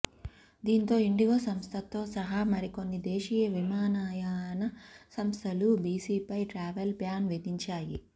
దీంతో ఇండిగో సంస్థతో సహా మరికొన్ని దేశీయ విమానయాన సంస్థలు జేసీపై ట్రావెల్ బ్యాన్ విధించాయి